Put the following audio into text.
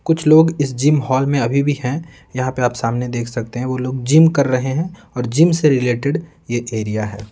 कुछ लोग इस जिम हॉल में अभी भी हैं यहाँ पे आप सामने देख सकते हैं वो लोग जिम कर रहे हैं और जिम से रिलेटेड ये एरिया है।